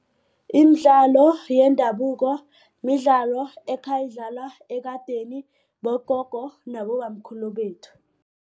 Imidlalo yendabuko midlalo ekheyidlalwa ekadeni bogogo nabobamkhulu bethu.